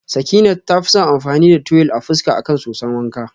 Sakinat tafi son amfani da tuwil a fuska akan soson wanka.